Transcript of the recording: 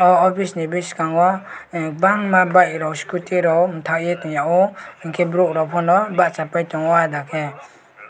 oh officeni biskango bangma bike rok scooty rok bathaye tongyao hwnkhe borok rok bachapai tongo adakhe